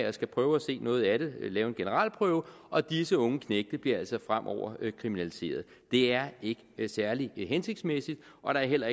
og skal prøve at se noget af det lave en generalprøve og disse unge knægte bliver altså fremover kriminaliseret det er ikke særlig hensigtsmæssigt og der er heller